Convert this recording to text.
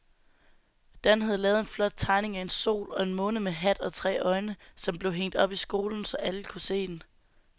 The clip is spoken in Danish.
Dan havde lavet en flot tegning af en sol og en måne med hat og tre øjne, som blev hængt op i skolen, så alle kunne se den.